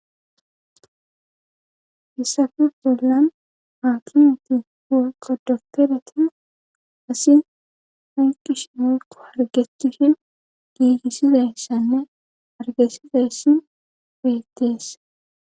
issafe bollan haakimeti woykko doktereti asi hayqishin wolko hargettishin giigissidayssanne hargessidayssi beettes.